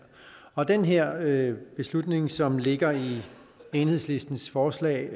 og den her beslutning som ligger i enhedslistens forslag